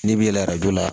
N'i b'i yɛlɛ a joona